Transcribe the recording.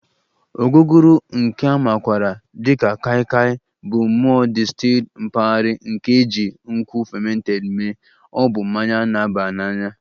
Ogogoro nke a makwaara dị ka Kai Kai Bụ mmụọ distilled mpaghara nke e ji nkwụ fermented mee, ọ bụ mmanya na-aba n'anya